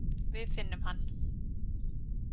Við finnum hann.